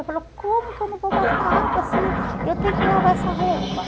Eu falava, como que eu não vou gastar água se eu tenho que lavar essa roupa?